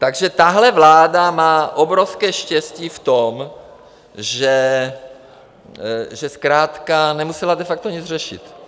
Takže tahle vláda má obrovské štěstí v tom, že zkrátka nemusela de facto nic řešit.